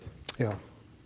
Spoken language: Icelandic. já